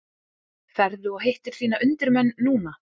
Ferðu og hittir þína undirmenn núna?